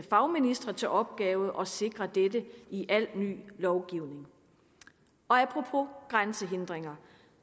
fagministre til opgave at sikre dette i al ny lovgivning apropos grænsehindringer